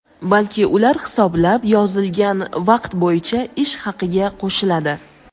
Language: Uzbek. balki ular hisoblab yozilgan vaqt bo‘yicha ish haqiga qo‘shiladi.